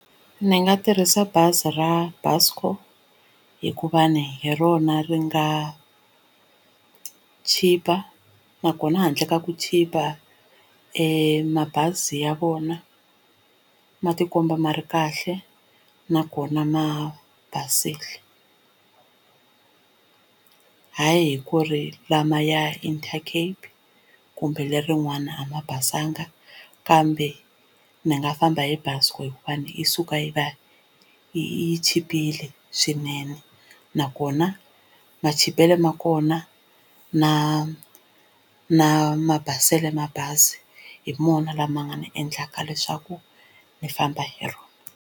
Ni nga tirhisa bazi ra Buscor hikuva ni hi rona ri nga chipa nakona handle ka ku chipa e mabazi ya vona ma tikomba ma ri kahle nakona ma basile hayi ku ri lama ya Intercape kumbe lerin'wana a ma basanga kambe ni nga famba hi bazi hikuva yi suka yi va yi chipile swinene nakona ma chipelo ma kona na na mabaselo ma bazi hi mona lama nga ni endlaka leswaku ni famba hi rona.